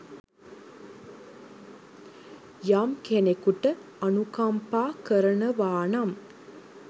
යම් කෙනෙකුට අනුකම්පා කරනවානම්